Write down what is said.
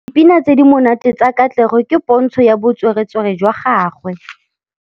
Dipina tse di monate tsa Katlego ke pôntshô ya botswerere jwa gagwe.